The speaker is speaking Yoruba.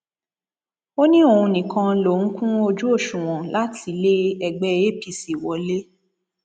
ó ní òun nìkan lòún kún ojú òṣùwọn láti lé ẹgbẹ apc wọlẹ